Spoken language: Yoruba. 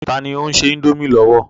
Tani ó ń se indomie lọ́wọ́?